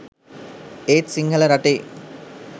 ඒත් සිංහල රටේ